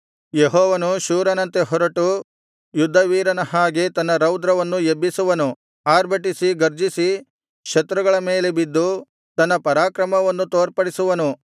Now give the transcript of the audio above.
ಯೆಹೋವನು ಶೂರನಂತೆ ಹೊರಟು ಯುದ್ಧವೀರನ ಹಾಗೆ ತನ್ನ ರೌದ್ರವನ್ನು ಎಬ್ಬಿಸುವನು ಆರ್ಭಟಿಸಿ ಗರ್ಜಿಸಿ ಶತ್ರುಗಳ ಮೇಲೆ ಬಿದ್ದು ತನ್ನ ಪರಾಕ್ರಮವನ್ನು ತೋರ್ಪಡಿಸುವನು